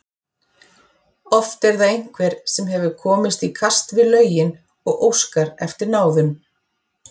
Oft er það einhver sem hefur komist í kast við lögin og óskar eftir náðun.